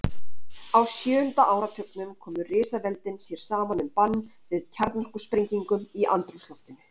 Á sjöunda áratugnum komu risaveldin sér saman um bann við kjarnorkusprengingum í andrúmsloftinu.